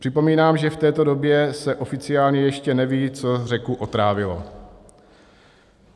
Připomínám, že v této době se oficiálně ještě neví, co řeku otrávilo.